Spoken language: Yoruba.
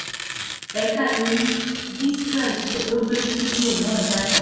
ẹ̀ka ìròyìn gistréel ló gbé fídíò náà jáde